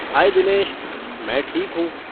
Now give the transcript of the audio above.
हाय दिनेश! मैं ठीक हूँ।